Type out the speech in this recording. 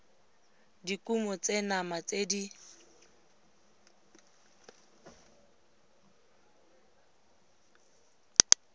dikumo tse nama tse di